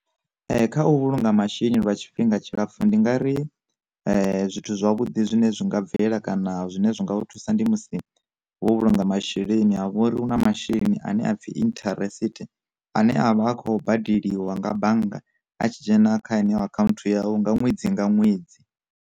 Kha u vhulunga masheleni lwa tshifhinga tshilapfu, ndi nga ri zwithu zwavhuḓi zwine zwi nga bvelela kana zwine zwi nga u thusa, ndi musi vho vhulunga masheleni avho uri hu na masheleni ane a pfi interest ane avha a kho badeliwa nga bannga a tshi dzhena kha ye neyo account yau nga ṅwedzi nga ṅwedzi.